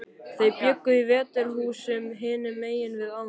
Þau bjuggu í Veturhúsum, hinum megin við ána.